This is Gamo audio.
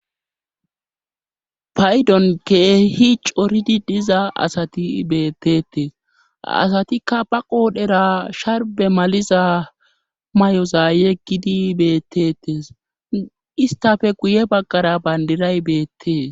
paydonke hi coridi diza asati beettete asatikka ba qoodhera sharbe maliza may7oza yeggidi bettetes istafe guye baggara bandiray beettee